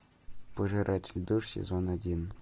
пожиратель душ сезон один